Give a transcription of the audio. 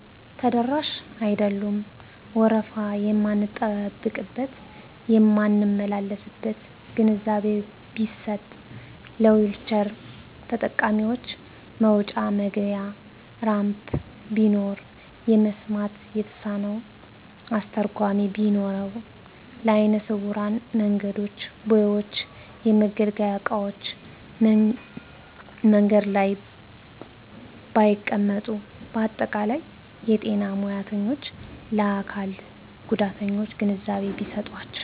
ተደራሽ አይደሉም። ወረፉ የማንጠብቅበት የማንመላለስበት ግንዛቤ ቢሰጥ ለዊልቸር ተጠቃሚዎች መውጫ መግቢያ ራምፕ ቢኖረው የመሥማት የተሳነው አስተርጓሚ ቢነኖረው ለአይነስውራን መንገዶች ቦዮች የመገልገያ እቃዎች መንገድ ላይ ባይቀመጡ በአጠቃላይ የጤና ሙያተኞች ለአካልስ ጉዳተኛ ግንዛቤ ቢሰጣቸው።